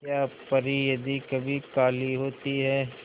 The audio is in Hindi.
क्या परी यदि कभी काली होती है